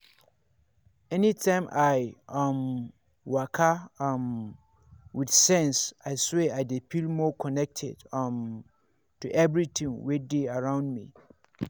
anytime i um waka um with sense i swear i dey feel more connected um to everything wey dey around me.